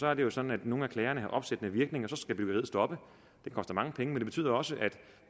er det jo sådan at nogle af klagerne har opsættende virkning og så skal byggeriet stoppe det koster mange penge men det betyder også at